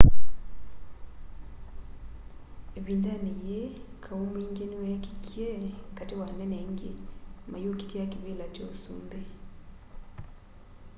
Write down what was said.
ivindani yii kau mwingi niweekikie kati wa anene aingi mayukitia kivila kya usumbi